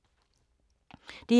DR2